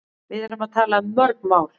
Við erum að tala um mörg mál.